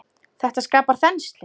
Þetta skapar þenslu.